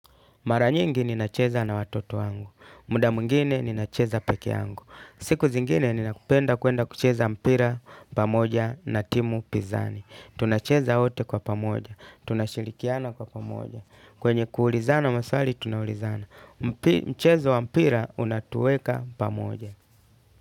Mara nyingi ninacheza na watoto wangu, muda mwingine ninacheza pekee yangu. Siku zingine ninapenda kuenda kucheza mpira, pamoja na timu pizani. Tunacheza wote kwa pamoja, tunashirikiana kwa pamoja. Kwenye kuulizana maswali, tunaulizana. Mchezo wa mpira, unatueka pamoja.